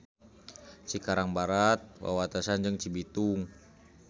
Cikarang Barat wawatesan jeung Cibitung.